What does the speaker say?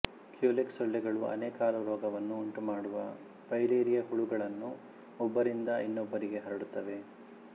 Culex ಸೊಳ್ಳೆಗಳು ಆನೆಕಾಲುರೋಗವನ್ನು ಉಂಟು ಮಾಡುವ ಫೈಲೇರಿಯ ಹುಳುಗಳನ್ನು ಒಬ್ಬರಿಂದ ಇನ್ನೊಬ್ಬರಿಗೆ ಹರಡುತ್ತವೆ